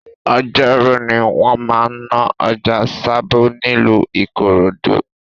Ọjọ́rú ni wọ́n máa ń ná ọjà Sabo nílùú Ikorodu